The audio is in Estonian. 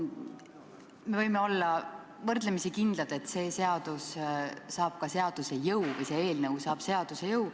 Me võime olla võrdlemisi kindlad, et see eelnõu saab seaduse jõu.